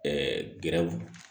Ɛɛ gɛrɛnw